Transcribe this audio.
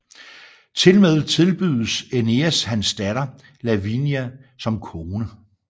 Tilmed tilbydes Æneas hans datter Lavinia som kone